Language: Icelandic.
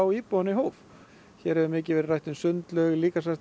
íbúanna í hóf hér hefur mikið verið rætt um sundlaug